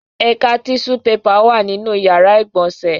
Àká tíṣú pepà wà nínú ìyàrá-ìgbọ̀nsẹ̀.